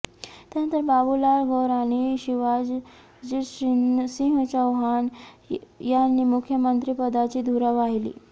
त्यानंतर बाबुलाल गौर आणि शिवराजसिंह चौहान यांनी मुख्यमंत्रिपदाची धुरा वाहिली